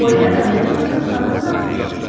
Pollyana, mənim adım Xanım Hanntdır.